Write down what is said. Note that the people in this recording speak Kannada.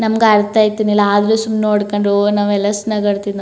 ನಮಗೆ ಅರ್ಥ ಆಯ್ತಿರಲಿಲ್ಲ ಆದರೂ ಸುಮ್ನೆ ನೋಡಿಕೊಂಡು ನಾವೆಲ್ಲ ಎಷ್ಟು ನಗಾಡ್ತಿದ್ವು.